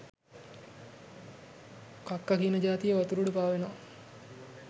කක්ක කියන ජාතිය වතුර උඩ පාවෙනව.